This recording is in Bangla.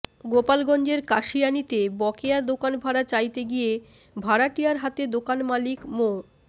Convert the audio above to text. গোপালগঞ্জের কাশিয়ানীতে বকেয়া দোকান ভাড়া চাইতে গিয়ে ভাড়াটিয়ার হাতে দোকান মালিক মো